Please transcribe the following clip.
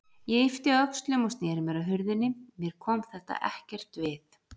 Ég yppti öxlum og sneri mér að hurðinni, mér kom þetta ekkert við.